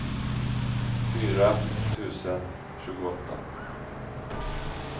fyra tusen tjugoåtta